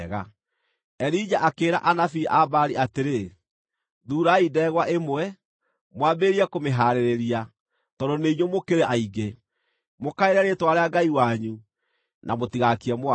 Elija akĩĩra anabii a Baali atĩrĩ, “Thuurai ndegwa ĩmwe, mwambĩrĩrie kũmĩhaarĩria, tondũ nĩ inyuĩ mũkĩrĩ aingĩ. Mũkaĩre rĩĩtwa rĩa ngai wanyu, na mũtigaakie mwaki.”